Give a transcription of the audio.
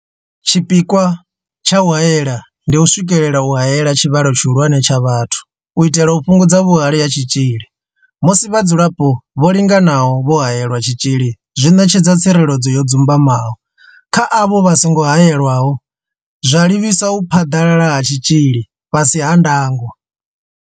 Tshipikwa tsha u haela ndi u swikelela u haela tshivhalo tshihulwane tsha vhathu u itela u fhungudza vhuhali ha tshitzhili musi vhadzulapo vho linganaho vho haelelwa tshitzhili zwi ṋetshedza tsireledzo yo dzumbamaho kha avho vha songo haelwaho, zwa livhisa u phaḓalala ha tshitzhili fhasi ha ndango.